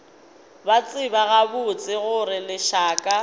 ba tseba gabotse gore lešaka